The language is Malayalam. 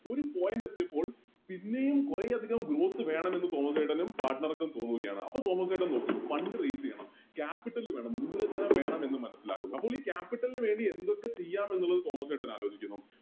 ഒര് Point എത്തിയപ്പോൾ പിന്നെയും കൊറേയധികം വേണമെന്ന് തോമസ് ചേട്ടനും Partner ക്കും തോന്നുകയാണ് അപ്പൊ തോമസ്സേട്ടൻ നോക്കുന്നു Fund raise ചെയ്യണം Capital വേണം മൂലധനം വേണമെന്നും മനസ്സിലാകുന്നു അപ്പോളി Capital നു വേണ്ടി എന്തൊക്കെ ചെയ്യന്നുള്ളത് തോമസ്സേട്ടൻ ആലോചിക്കുന്നു